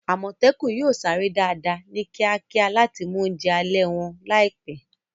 Àmọ̀tẹ́kùn yóò sáré dáadáa, ní kíákíá láti mú oúnjẹ alẹ́ wọn láìpẹ́.